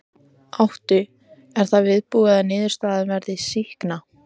Áttu, er þá viðbúið að niðurstaðan verði sýkna?